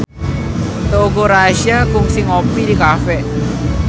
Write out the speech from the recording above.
Teuku Rassya kungsi ngopi di cafe